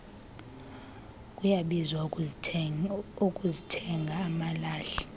kuyabiza ukuzithenga amalahle